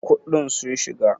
kuɗin sun shiga!!